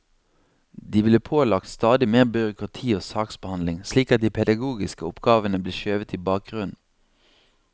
De blir pålagt stadig mer byråkrati og saksbehandling, slik at de pedagogiske oppgavene blir skjøvet i bakgrunnen.